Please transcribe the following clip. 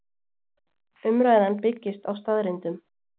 Umræðan byggist á staðreyndum